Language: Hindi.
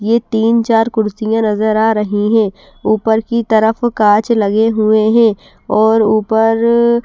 ये तीन चार कुर्सियां नजर आ रही है ऊपर की तरफ कांच लगे हुए हैं और ऊपर--